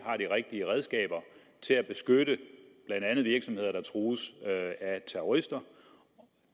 har de rigtige redskaber til at beskytte blandt andet virksomheder der trues af terrorister